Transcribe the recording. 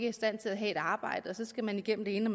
i stand til at have et arbejde og så skal igennem det ene